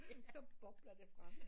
Så det bobler det frem